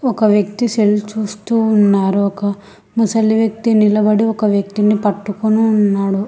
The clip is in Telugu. ఒక వ్యక్తి సెల్ చూస్తూ ఉన్నారు ఒక ముసలి వ్యక్తి నిలబడి ఒక వ్యక్తిని పట్టుకుని ఉన్నాడు.